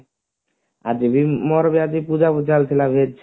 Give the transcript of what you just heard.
ଆଜି ବି ମୋର ବି ଆଜି ପୁରା ଥିଲା veg